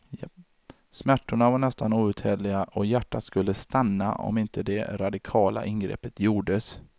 Smärtorna var nästan outhärdliga och hjärtat skulle stanna om inte det radikala ingreppet gjordes.